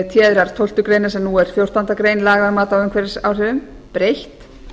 téðrar tólftu greinar sem nú er fjórtándu grein laga um mat á umhverfisáhrifum breytt